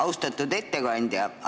Austatud ettekandja!